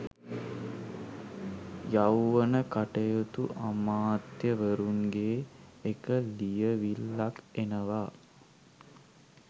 යෞවන කටයුතු අමාත්‍යවරුන්ගේ එක ලියවිල්ලක් එනවා.